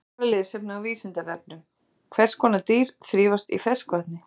Frekara lesefni á Vísindavefnum: Hvers konar dýr þrífast í ferskvatni?